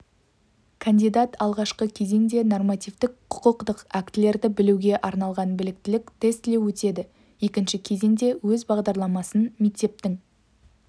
кандидат алғашқы кезеңде нормативтік құқықтық актілерді білуге арналған біліктілік тестілеу өтеді екінші кезеңде өз бағдарламасын мектептің